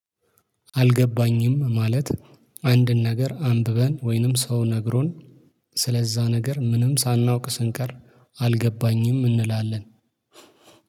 አልገባኝም። ማለት አንድን ነገር አንብበን ወይንም ሰው ነግሮን። ስለዛ ነገር ምንም ሳናውቅ ስንቀር አልገባኝም እንላለን